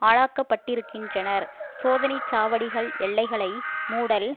ஆளாக்கப்பட்டிருக்கின்றனர் சோதனை சாவடிகள் எல்லைகளை மூடல்